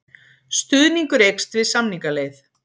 Stuðningur eykst við samningaleið